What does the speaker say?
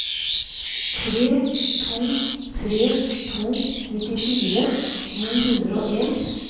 tre to tre to nittifire ni hundre og en